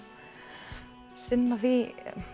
sinna því